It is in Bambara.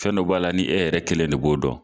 Fɛn dɔ b'a la ni e yɛrɛ kelen ne b'o dɔn